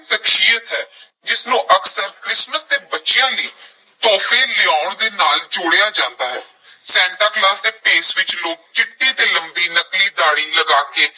ਸ਼ਖਸੀਅਤ ਹੈ ਜਿਸ ਨੂੰ ਅਕਸਰ ਕ੍ਰਿਸਮਸ ਤੇ ਬੱਚਿਆਂ ਲਈ ਤੋਹਫ਼ੇ ਲਿਆਉਣ ਦੇ ਨਾਲ ਜੋੜਿਆ ਜਾਂਦਾ ਹੈ ਸੈਂਟਾ ਕਲੌਸ ਦੇ ਭੇਸ ਵਿੱਚ ਲੋਕ ਚਿੱਟੀ ਤੇ ਲੰਬੀ ਨਕਲੀ ਦਾੜ੍ਹੀ ਲਗਾ ਕੇ